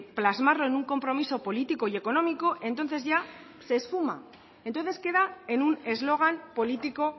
plasmarlo en un compromiso político y económico entonces ya se esfuma entonces queda en un eslogan político